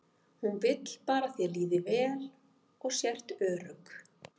Hún vill bara að þér líði vel og sért örugg.